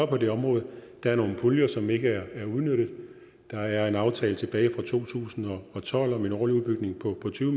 på det område der er nogle puljer som ikke er udnyttet der er en aftale tilbage fra to tusind og tolv om en årlig udbygning på tyve